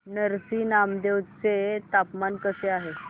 नरसी नामदेव चे तापमान कसे आहे